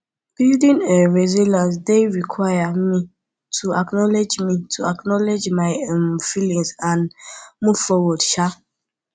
building um resilience dey require me to acknowledge me to acknowledge my um feelings and move forward um